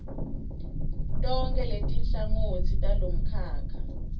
tonkhe letinhlangotsi talomkhakha